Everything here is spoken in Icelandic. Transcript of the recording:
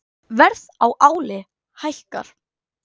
Verð á áli hækkar